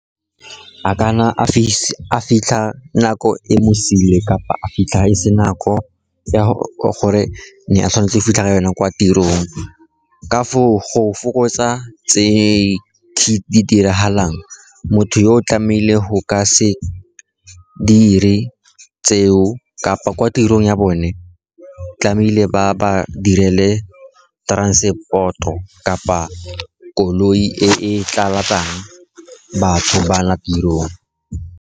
A kana a fitlha nako e mo sile kapa a fitlha ko se nako ya gore ne a tshwanetse fitlha ka yona kwa tirong. Ka foo, go fokotsa tse di diragalang, motho yo o tlamehile go ka se dire tseo kapa kwa tirong ya bone tlamehile ba ba direle transport-o kapa koloi e e tlala batlang batho ba ya tirong.